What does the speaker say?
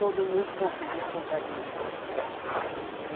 Todo mundo compra, ia comprar de mim lá.